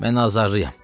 Mən azarlıyam.